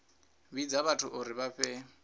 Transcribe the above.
vhidza vhathu uri vha fhe